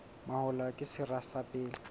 mahola ke sera sa pele